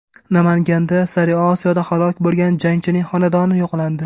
Namanganda Sariosiyoda halok bo‘lgan jangchining xonadoni yo‘qlandi.